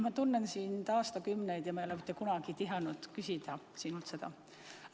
Ma tunnen sind aastakümneid ja ma ei ole mitte kunagi tihanud sinult seda küsida.